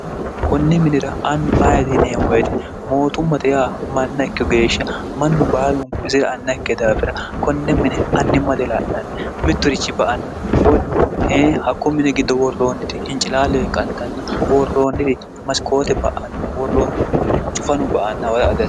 konne minira annu ayidiineemmoyite mootummate yaa mannaikkih geeshsha mannu baalunku izira anna ikke daafira konne mine annimma de laa'nanni mitturichi ba anna woy e hakko mine giddo worrooniti hincilaallee qantanna worroonniri masikoote ba'anna worroonnihu cufanu ba anna wora ad